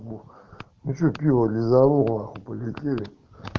ну что пиво лизанул на хуй полетели